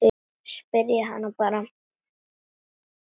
Spyrjið hana bara.